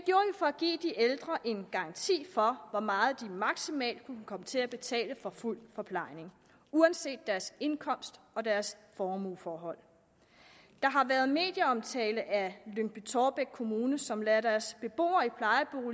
for at give de ældre en garanti for hvor meget de maksimalt kunne komme til at betale for fuld forplejning uanset deres indkomst og deres formueforhold der har været medieomtale af lyngby taarbæk kommune som lader deres beboere